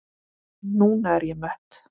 Núna er ég mött.